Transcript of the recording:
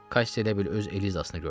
Kassi elə bil öz Elizasını gördü.